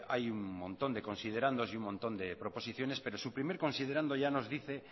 hay un montón de considerandos y un montón de proposiciones pero su primer considerando ya nos dice